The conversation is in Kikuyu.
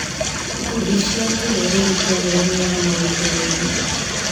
Ikundi cia kĩrũrĩrĩ ciahiũranirie na moritũ maingĩ.